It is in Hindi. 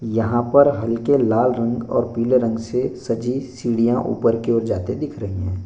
यहां पर हल्के लाल रंग और पीले रंग से सजी सीढ़ियां ऊपर की ओर जाते दिख रही है।